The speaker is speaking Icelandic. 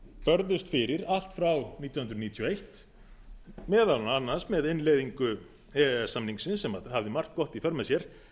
börðust fyrir allt frá nítján hundruð níutíu og eitt meðal annars með innleiðingu e e s samningsins sem hafði margt gott í för með sér